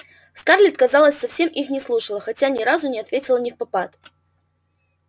скарлетт казалось совсем их не слушала хотя ни разу не ответила невпопад